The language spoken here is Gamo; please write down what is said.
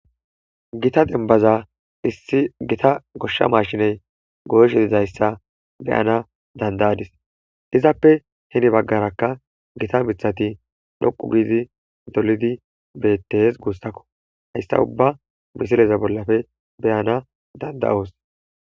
gita denbaza issi gita goshsha maashiney gooshe dizayssa beyana dandayadis izappe heni baggarakka gita mithati dhoqu giidi dolidi bettees guussakko hayssa ubba misileza bollappe beyanas danda'os